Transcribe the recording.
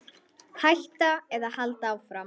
Hætta eða halda áfram?